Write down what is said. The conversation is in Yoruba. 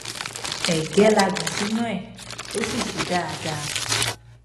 ẹgẹ la gbìn sínú ẹ ó sì ṣe dáadáa